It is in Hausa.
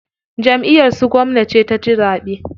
Jamʼiyar su gwamna ce ta ci zaɓe.